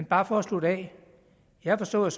bare for at slutte af jeg har forstået